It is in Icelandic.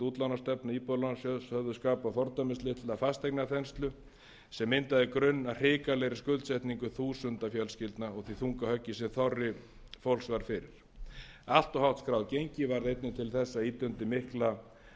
útlánastefnu íbúðalánasjóðs höfðu skapað fordæmislitla fasteignaþenslu sem myndaði grunn að hrikalegri skuldsetningu þúsunda fjölskyldna og því þunga höggi sem þorri fólks varð fyrir allt of hátt skráð gengi varð einnig til að ýta undir mikla